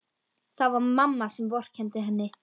Það var mamma sem vorkenndi henni.